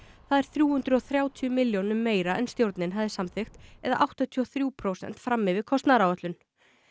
það er þrjú hundruð og þrjátíu milljónum meira en stjórnin hafði samþykkt eða áttatíu og þrjú prósent fram yfir kostnaðaráætlun